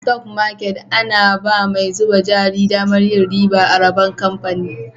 A" stock market " ana ba mai zuba jari daman yin riba a rabon kamfani.